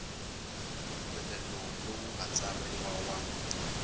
mpfumelelo lowu nga tsariwa wa